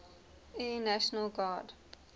air national guard